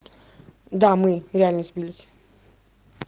да мы реально сбились